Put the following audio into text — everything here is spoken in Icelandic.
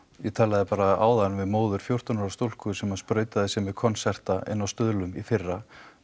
ég talaði bara áðan við móður fjórtán ára stúlku sem að sprautaði sig með inni á Stuðlum í fyrra